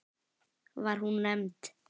Var hún nefnd